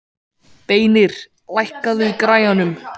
Beinir, lækkaðu í græjunum.